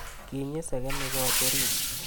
Kinyi segemik koot oriit